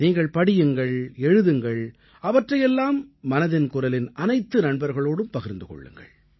நீங்கள் படியுங்கள் எழுதுங்கள் அவற்றை எல்லாம் மனதின் குரலின் அனைத்து நண்பர்களோடும் பகிர்ந்து கொள்ளுங்கள்